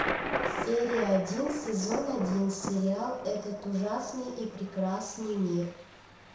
серия один сезон один сериал этот ужасный и прекрасный мир